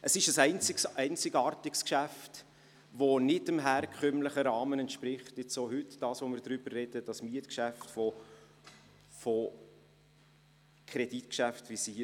Es ist, auch angesichts dessen, worüber wir heute im Zusammenhang mit dem Mietgeschäft sprechen, ein einzigartiges Geschäft, welches nicht dem herkömmlichen Rahmen von sonst hier im Parlament besprochenen Kreditgeschäften entspricht.